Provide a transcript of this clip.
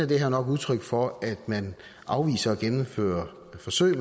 det her nok udtryk for at man afviser at gennemføre forsøg